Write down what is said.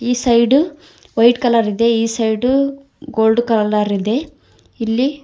ಈ side white colour ಇದೆ ಈ ಸೈಡು ಗೋಲ್ಡ್ ಕಲರ್ ಇದೆ ಇಲ್ಲಿ --